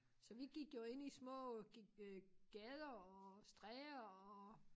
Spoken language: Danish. Så vi gik jo ind i små øh gader og stræder og